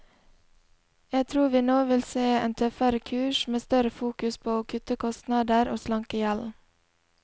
Jeg tror vi nå vil se en tøffere kurs, med større fokus på å kutte kostnader og slanke gjelden.